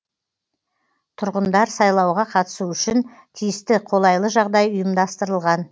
тұрғындар сайлауға қатысу үшін тиісті қолайлы жағдай ұйымдастырылған